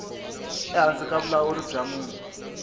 ehansi ka vulawuri bya munhu